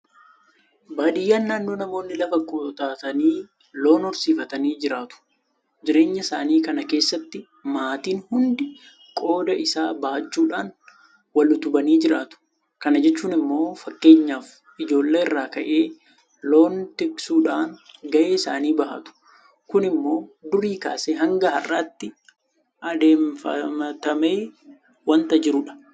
Baadiyyaan naannoo namoonni lafa qotatanii loon horsiifatanii jiraatu. Jireenya isaanii kana keessatti maatiin hundi qooda isaa bahachuudhaan wal utubanii jiraatu. Kana jechuun immoo fakkeenyaaf ijoollee irraa ka'ee loon tiksuudhaan gahee isaanii bahatu. Kun immoo durii kaasee hanga har'aatti aadeffatamee waanta jirudha.